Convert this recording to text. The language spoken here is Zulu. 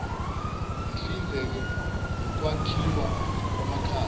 sihlinzeke ngokwakhiwa kwamakhaya